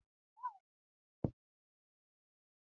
Ƙawayen amarya duk sun sa jajayen riguna.